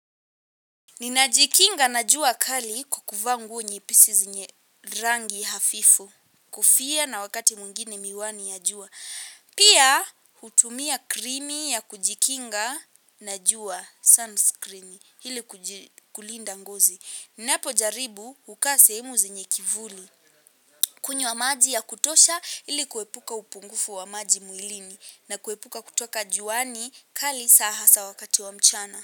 Ninajikinga na jua kali kwa kuvaa nguo nyepesi zenye rangi hafifu. Kofia na wakati mwengine miwani ya jua. Pia hutumia krimi ya kujikinga na jua sunscreen ili kulinda ngozi. Ninapojaribu kukaa sehemu zenye kivuli kunywa maji ya kutosha ili kuepuka upungufu wa maji mwilini. Na kuepuka kutoka juani kali sa hasa wakati wa mchana.